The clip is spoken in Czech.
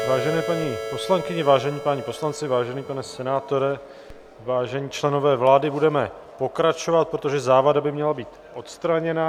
Vážené paní poslankyně, vážení páni poslanci, vážený pane senátore, vážení členové vlády, budeme pokračovat, protože závada by měla být odstraněna.